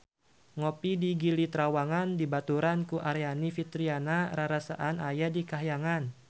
Ngopi di Gili Trawangan dibaturan ku Aryani Fitriana rarasaan aya di kahyangan